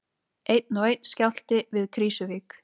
Einn og einn skjálfti við Krýsuvík